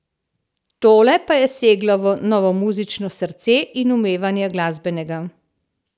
Tole pa je seglo v novomuzično srce in umevanje glasbenega.